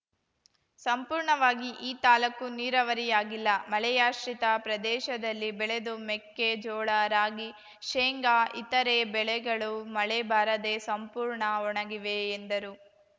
ಸಂಪೂರ್ಣವಾಗಿ ಈ ತಾಲೂಕು ನೀರಾವರಿಯಾಗಿಲ್ಲ ಮಳೆಯಾಶ್ರಿತ ಪ್ರದೇಶದಲ್ಲಿ ಬೆಳೆದು ಮೆಕ್ಕೆಜೋಳ ರಾಗಿ ಶೇಂಗಾ ಇತರೆ ಬೆಳೆಗಳು ಮಳೆ ಬಾರದೇ ಸಂಪೂರ್ಣ ಒಣಗಿವೆ ಎಂದರು